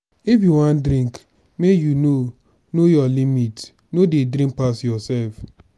if you wan drink make you know know your limit. no dey drink pass yourself.